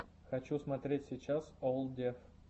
хочу смотреть сейчас олл деф